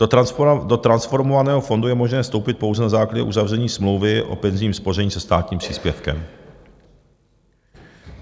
Do transformovaného fondu je možné vstoupit pouze na základě uzavření smlouvy o penzijním spoření se státním příspěvkem.